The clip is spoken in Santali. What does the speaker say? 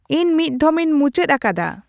ᱤᱧ ᱢᱤᱫᱽᱫᱷᱚᱢ ᱤᱧ ᱢᱩᱪᱟᱹᱫ ᱟᱠᱟᱫᱟ